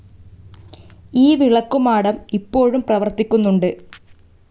ഈ വിളക്കുമാടം ഇപ്പോഴും പ്രവർത്തിക്കുന്നുണ്ട്.